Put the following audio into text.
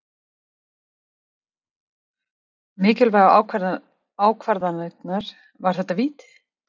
Mikilvægu ákvarðanirnar- var þetta víti?